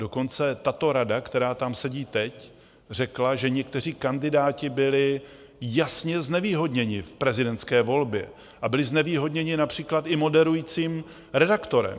Dokonce tato rada, která tam sedí teď, řekla, že někteří kandidáti byli jasně znevýhodněni v prezidentské volbě, a byli znevýhodněni například i moderujícím redaktorem.